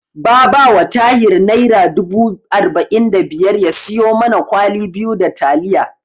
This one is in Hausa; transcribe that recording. Ba ba wa Tahir Naira dubu arba'in da biyar ya siyo mana kwali biyu da taliya.